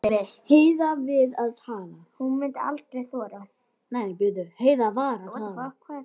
Heiða var að tala.